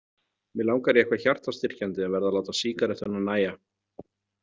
Mig langar í eitthvað hjartastyrkjandi en verð að láta sígarettuna nægja.